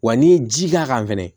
Wa n'i ye ji k'a kan fɛnɛ